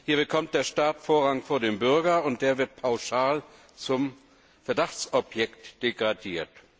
Hier bekommt der Staat Vorrang vor dem Bürger, und der wird pauschal zum Verdachtsobjekt degradiert.